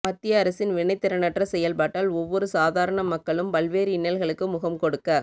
மத்திய அரசின் வினைத்திறனற்ற செயற்பாட்டால் ஒவ்வொரு சாதாரண மக்களும் பல்வேறு இன்னல்களுக்கு முகம்கொடுக்க